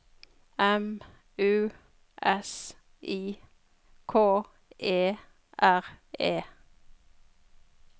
M U S I K E R E